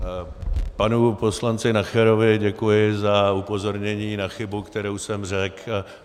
Panu poslanci Nacherovi děkuji za upozornění na chybu, kterou jsem řekl.